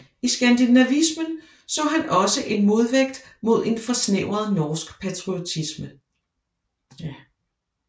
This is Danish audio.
I skandinavismen så han også en modvægt mod en forsnævret norsk patriotisme